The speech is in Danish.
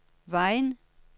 Vejen